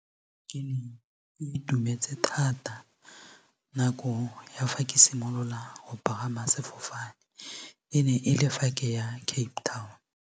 Ke ne ke itumetse thata nako ya fa ke simolola go pagama sefofane e ne e le fa ke ya Cape Town.